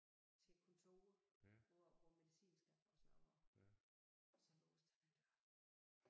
Til kontoret hvor hvor medicinskabet og sådan noget var så låste han døren